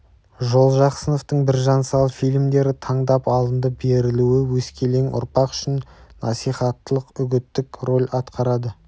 жолжақсыновтың біржан сал фильмдері таңдап алынды берілуі өскелең ұрпақ үшін насихаттық-үгіттік роль атқарады